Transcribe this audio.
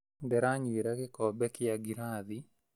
Ndĩranyuĩra gĩkombe kĩa ngirathi